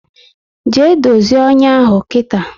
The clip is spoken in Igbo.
Jee dozie ọnyá ahụ kita!